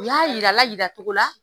U y'a yir'a la yira cogo la